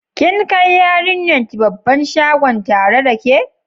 Kin kai yariyan ki babban shagon tare da ke?